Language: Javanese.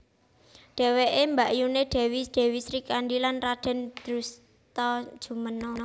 Dheweke mbakyuné Dèwi Dèwi Srikandhi lan Radèn Drustajumena